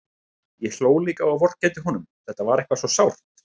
Ég hló líka og vorkenndi honum, þetta var eitthvað svo sárt.